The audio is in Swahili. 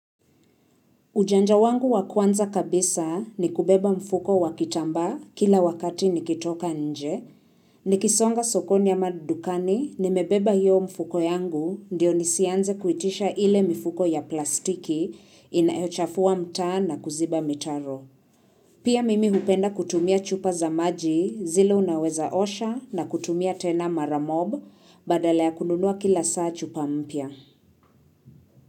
Ujanja wangu wa kwanza kabisa ni kubeba mfuko wa kitambaa kila wakati nikitoka nje. Nikisonga sokoni ama dukani nimebeba hiyo mfuko yangu ndiyo nisianze kuitisha ile mifuko ya plastiki inayochafua mtaa na kuziba mitaro. Pia mimi hupenda kutumia chupa za maji zile unaweza osha na kutumia tena mara mob badala ya kununua kila saa chupa mpya.